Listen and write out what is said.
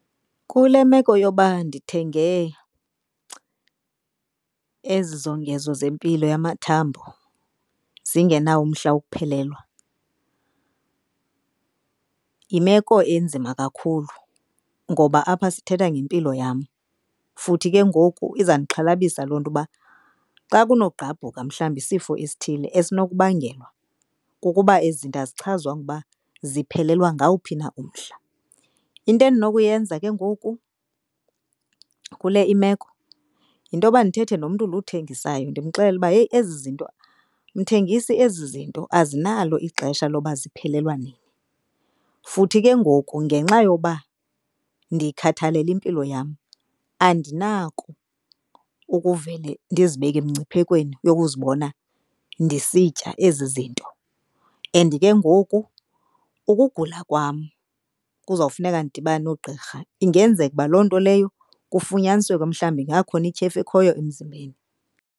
Kule meko yoba ndithenge ezi zongezo zempilo yamathambo zingenawo umhla wokuphelelwa, yimeko enzima kakhulu ngoba apha sithetha ngempilo yam futhi ke ngoku izawundixhalabisa loo nto uba xa kunogqabhuka mhlawumbi isifo esithile esinokubangelwa kukuba ezi zinto azichazwanga ukuba ziphelelwa ngawuphi na umhla. Into endinokuyenza ke ngoku kule imeko, yinto yoba ndithethe nomntu lo uthengisayo ndimxelele uba heyi ezi zinto, mthengisi ezi zinto azinalo ixesha loba ziphelelwa nini. Futhi ke ngoku ngenxa yoba ndikhathalele impilo yam andinako ukuvele ndizibeke emngciphekweni yokuzibona ndisitya ezi zinto. And ke ngoku ukugula kwam kuzawufuneka ndidibane noogqirha. Ingenzeka uba loo nto leyo kufunyanisweke mhlawumbi ingakhona ityhefu ekhoyo emzimbeni.